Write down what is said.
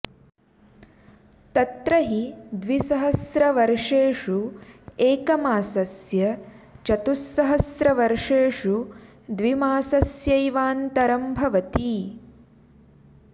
तत्र हि द्विसहस्रवर्षेषु एकमासस्य चतुःसहस्रवर्षेषु द्वि मासस्यैवान्तरं भवति